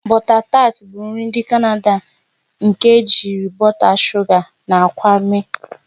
Bọta tat bụ nri ndị Canada nke ejiri bọta, shuga na akwa mee.